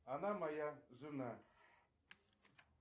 она моя жена